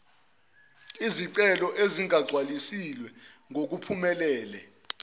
izicelo ezingagcwalisiwe ngokuphelele